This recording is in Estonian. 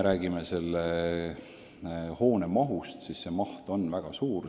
Aga selle hoone maht on väga suur.